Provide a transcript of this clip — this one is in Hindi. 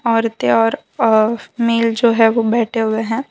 औरतें और अ मेल जो है वो बैठे हुए हैं।